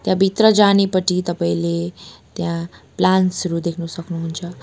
र भित्रजानेपटि तपाईँले त्यहाँ प्लान्ट्स हरू देख्न सक्नुहुन्छ।